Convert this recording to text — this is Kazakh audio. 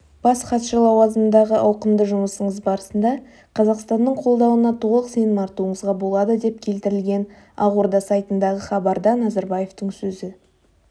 бас хатшы лауазымындағы ауқымды жұмысыңыз барысында қазақстанның қолдауына толық сенім артуыңызға болады деп келтірілген ақорда сайтындағы хабарда назарбаевтың сөзі